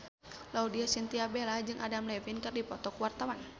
Laudya Chintya Bella jeung Adam Levine keur dipoto ku wartawan